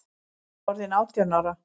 Ég var orðin átján ára.